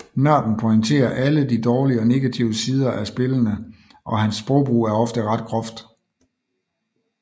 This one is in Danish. Nørden pointerer alle de dårlige og negative sider af spillene og hans sprogbrug er ofte ret groft